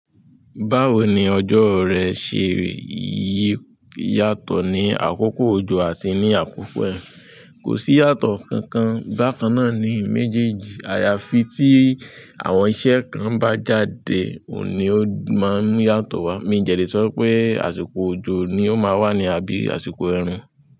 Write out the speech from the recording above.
Báwo ni ọjọ́ rẹ ṣe yí yàtọ̀ ní àkókò òjò àti ní àkókò ẹ̀rùn? Kosi iyatọ kankan. Bakanna ni mejeji. Àyàfi tí àwọn iṣẹ́ kan bá jáde, òun ni ó máa ń yàtọ̀ wá. Min dẹ̀ lé sọ pé àsìkò òjò ni ó máa wà ní àbí àsìkò ẹ̀rùn.